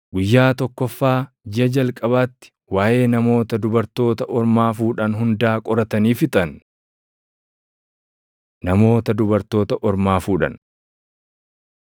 guyyaa tokkoffaa jiʼa jalqabaatti waaʼee namoota dubartoota ormaa fuudhan hundaa qoratanii fixan. Namoota Dubartoota Ormaa Fuudhan